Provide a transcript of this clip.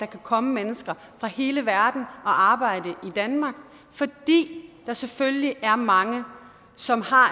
komme mennesker fra hele verden og arbejde i danmark fordi der selvfølgelig er mange som har